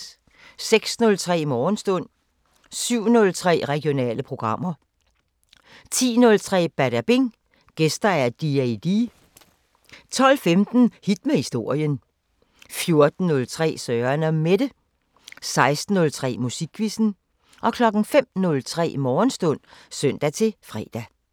06:03: Morgenstund 07:03: Regionale programmer 10:03: Badabing: Gæster D-A-D 12:15: Hit med historien 14:03: Søren & Mette 16:03: Musikquizzen 05:03: Morgenstund (søn-fre)